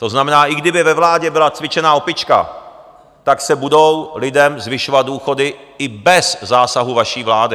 To znamená, i kdyby ve vládě byla cvičená opička, tak se budou lidem zvyšovat důchody, i bez zásahu vaší vlády.